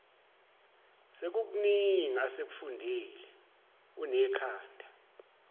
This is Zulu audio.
sekukuningi asekufundile unekhanda